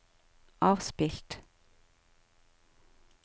avspilt